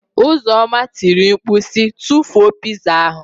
Uzoma tiri mkpu si, tụfuo pịzaa ahụ.